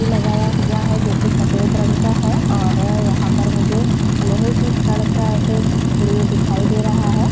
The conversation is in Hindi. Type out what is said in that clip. लगाया हुआ है जो कि सफ़ेद रंग का है और यहाँ पर मुझे लोहे की छड़ स ऐसे नींव दिखाई दे रहा है।